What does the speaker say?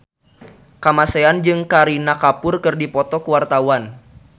Kamasean jeung Kareena Kapoor keur dipoto ku wartawan